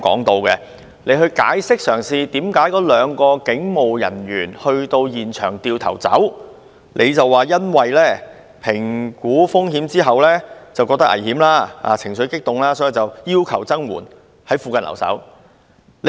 他提到該兩名人員評估風險後，認為情況危險及考慮到現場人士情緒激動，所以要求增援，在附近留守。